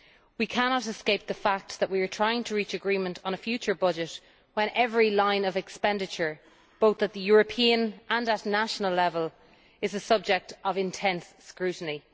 We cannot escape the fact that we are trying to reach agreement on a future budget when every line of expenditure, both at European and at national level, is the subject of intense scrutiny.